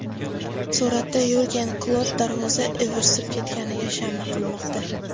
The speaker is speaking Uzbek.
Suratda Yurgen Klopp darvoza ivirsib ketganiga shama qilmoqda.